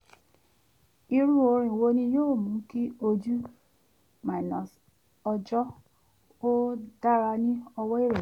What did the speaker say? irú orin wo ni yóò mú kí ojú-ọjọ́ ó dára ní ọwọ́ ìrọ̀lẹ́?